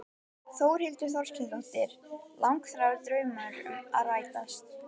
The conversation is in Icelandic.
Þórhildur Þorkelsdóttir: Langþráður draumur að rætast?